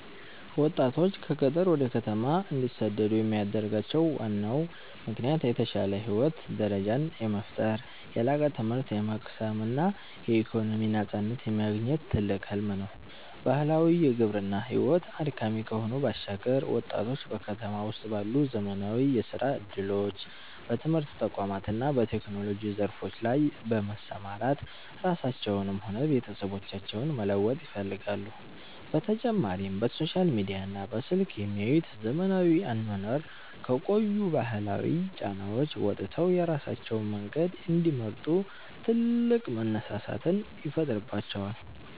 ወጣቶች ከገጠር ወደ ከተማ እንዲሰደዱ የሚያደርጋቸው ዋናው ምክንያት የተሻለ የህይወት ደረጃን የመፍጠር፣ የላቀ ትምህርት የመቅሰም እና የኢኮኖሚ ነፃነትን የማግኘት ትልቅ ህልም ነው። ባህላዊው የግብርና ሕይወት አድካሚ ከመሆኑ ባሻገር፣ ወጣቶች በከተማ ውስጥ ባሉ ዘመናዊ የሥራ ዕድሎች፣ በትምህርት ተቋማት እና በቴክኖሎጂ ዘርፎች ላይ በመሰማራት ራሳቸውንም ሆነ ቤተሰቦቻቸውን መለወጥ ይፈልጋሉ፤ በተጨማሪም በሶሻል ሚዲያና በስልክ የሚያዩት ዘመናዊ አኗኗር ከቆዩ ባህላዊ ጫናዎች ወጥተው የራሳቸውን መንገድ እንዲመርጡ ትልቅ መነሳሳትን ይፈጥርባቸዋል።